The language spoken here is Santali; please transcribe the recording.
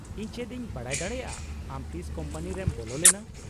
-ᱤᱧ ᱪᱮᱫ ᱤᱧ ᱵᱟᱰᱟᱭ ᱫᱟᱲᱮᱭᱟᱜᱼᱟ ᱟᱢ ᱛᱤᱥ ᱠᱳᱢᱯᱟᱱᱤ ᱨᱮᱢ ᱵᱚᱞᱚ ᱞᱮᱱᱟ ?